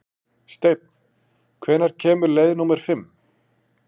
Steinn, hvenær kemur leið númer fimm?